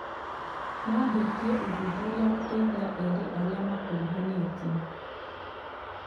Maambĩtie ũthuthuria gũteithia eerĩ arĩa makuruhanĩtio